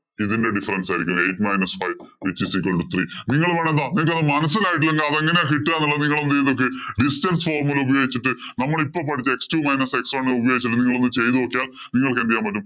ഇതിന്‍റെ difference ആയിരിക്കും. Eight minus by which is equal to three. നിങ്ങള്‍ മനസിലായിട്ടില്ലെങ്കില്‍ അതെങ്ങനെയാ കിട്ടുക എന്നുള്ളത് നിങ്ങള്‍ ഒന്ന് ചിന്തിച്ചേ. Distance formula ഉപയോഗിച്ചിട്ട് നമ്മള്‍ ഇപ്പം പഠിച്ച x two minus x one ഉപയോഗിച്ചിട്ട് നിങ്ങള്‍ ഒന്ന് ചെയ്തുനോക്കിയാല്‍ നിങ്ങള്‍ക്ക് എന്തു ചെയ്യാന്‍ പറ്റും.